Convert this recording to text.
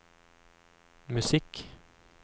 musikk